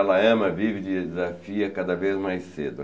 Ela ama, vive e te desafia cada vez mais cedo.